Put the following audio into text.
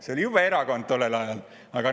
See oli jube erakond tollel ajal!